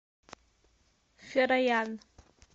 фероян